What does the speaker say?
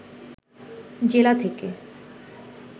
জেলা থেকে